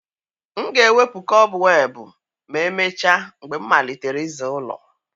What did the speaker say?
M ga-ewepụ kọbweb ma emechaa mgbe m malitere ịza ụlọ.